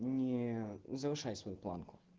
не завышай свою планку